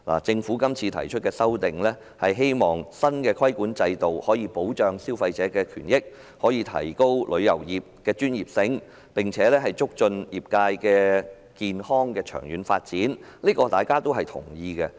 政府提出《條例草案》，是希望新規管制度能夠保障消費者權益，提升旅遊業的專業，並且促進業界健康而長遠發展，這些目的大家都認同。